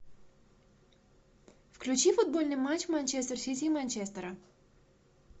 включи футбольный матч манчестер сити и манчестера